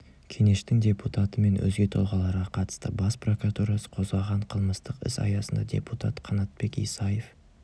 кенештің депутаты мен өзге тұлғаларға қатысты бас прокуратурасы қозғаған қылмыстық іс аясында депутат қанатбек исаев